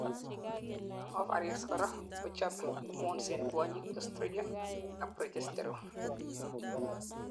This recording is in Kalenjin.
ovaries korak kochobei hormones en kwonyik estrogen ak progesterone